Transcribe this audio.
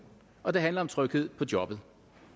og det handler om tryghed på jobbet